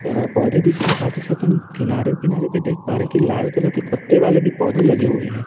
अ पौधे दिख रहे हैं साथ ही साथ हम किनारे किनारे पे देख पा रहे हैं कि लाल कलर के पत्ते वाले भी पौधे लगे हुए हैं।